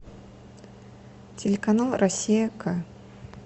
телеканал россия к